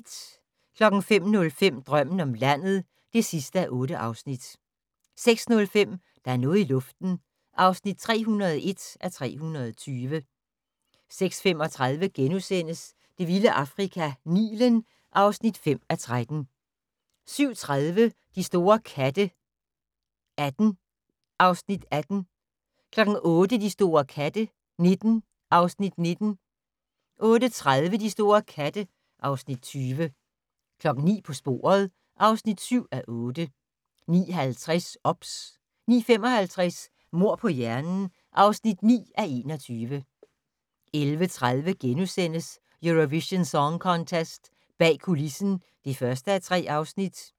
05:05: Drømmen om landet (8:8) 06:05: Der er noget i luften (301:320) 06:35: Det vilde Afrika - Nilen (5:13)* 07:30: De store katte 18 (Afs. 18) 08:00: De store katte 19 (Afs. 19) 08:30: De store katte (Afs. 20) 09:00: På sporet (7:8) 09:50: OBS 09:55: Mord på hjernen (9:21) 11:30: Eurovision Song Contest - bag kulissen (1:3)*